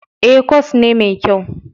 E, kwas ne mai kyau.